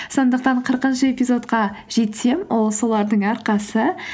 сондықтан қырқыншы эпизодқа жетсем ол солардың арқасы